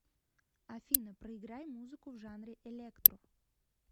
афина проиграй музыку в жанре электро